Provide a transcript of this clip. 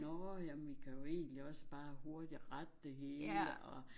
Nåh jamen vi kan jo egentlig også bare hurtigt rette det hele og